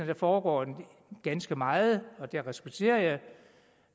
der foregår ganske meget og det respekterer jeg